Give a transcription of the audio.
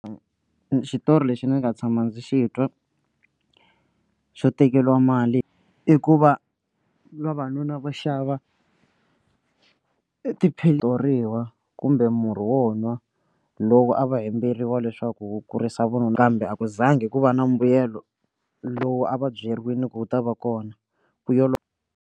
Xitori lexi ni nga tshama ndzi xi twa xo tekeriwa mali i ku va vavanuna va xava tiphilisi kumbe murhi wo nwa lowu a va hembeleriwa leswaku wu kurisa vununa kambe a ku za ngi ku va na mbuyelo lowu a va byeriwile ku wu ta va kona vuyelo.